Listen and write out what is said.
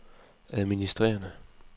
administrerende